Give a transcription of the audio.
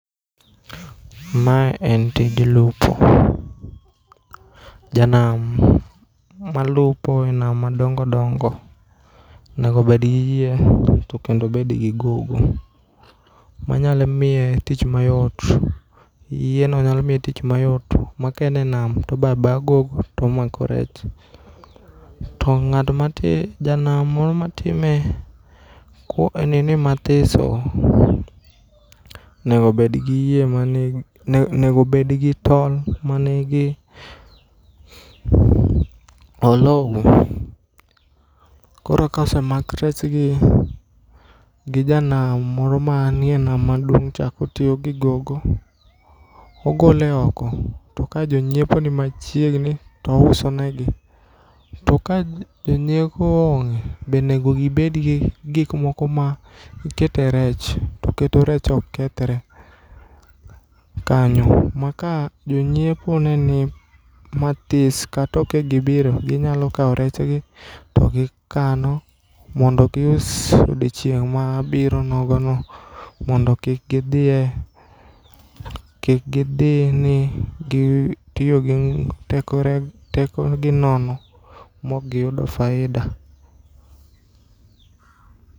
Mae en tij lupo. Janam malupo e nam madongodongo negobedgi yie to kendo obedgi gogo manyalo miye tich mayot. Yieno nyalomiye tich mayot ma kaene nam tobayabaya gogo tomako rech. To ng'at ma ti, janam moro matime ko e nini mathiso nego obedgi yie mani, negobedgi tol manigi oloune. Koro kaosemak rechgi gijanam moro manie nam maduong' cha kotiyogi gogo kogole oko. To kajonyiepo ni machiegni tousonegi. To kajonyiepo onge bonego gibedgi gikmoko ma ikete rech to keto rech ok kethre kanyo ma ka jonyiepo neni matis kata okegibiro ginyalokao rechgi to gikano mondo gius odiochieng' mabiro nogono mondo kik gidhie, kik gidhie ni gitiyo gi tekogi nono mokgiyudo faida.